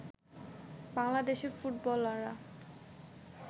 বাংলাদেশের ফুটবলাররা